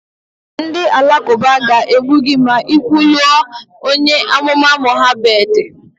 Ndị Alakụba ga-egbu gị ma ị kwuluo onye amụma Mohammed